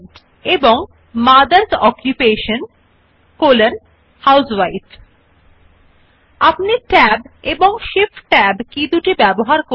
আপনি ট্যাব ব্যবহার ও ট্যাবের কি এবং বৃদ্ধি যথাক্রমে বুলেট জন্য ইন্ডেন্ট হ্রাস স্থানপরিবর্তন পারেন you can use Tab and shift tab keys to increase and decrease the indent for the bullets respectively